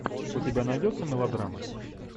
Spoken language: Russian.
у тебя найдется мелодрама